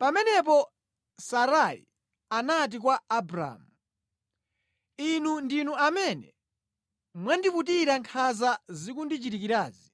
Pamenepo Sarai anati kwa Abramu, “Inu ndinu amene mwandiputira nkhanza zikundichitikirazi.